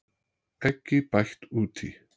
Eggi bætt út í.